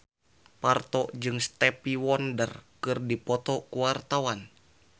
Parto jeung Stevie Wonder keur dipoto ku wartawan